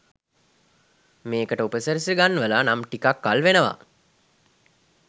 මේකට උපසි‍රැසි ගන්වලා නම් ටිකක් කල් වෙනවා.